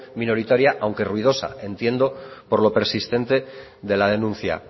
minoritaria aunque ruidosa entiendo por lo persistente de la denuncia